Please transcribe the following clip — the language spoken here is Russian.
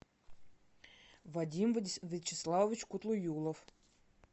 вадим вячеславович кутлуюлов